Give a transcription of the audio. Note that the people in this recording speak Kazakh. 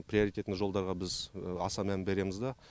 приоритетный жолдарға біз аса мән береміз дә